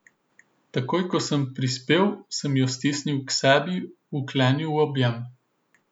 Takoj ko sem prispel, sem jo stisnil k sebi, vklenil v objem.